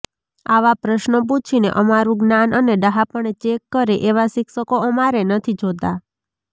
આવા પ્રશ્નો પૂછીને અમારુ જ્ઞાન અને ડહાપણ ચેક કરે એવા શિક્ષકો અમારે નથી જોતા